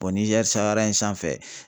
Niger in sanfɛ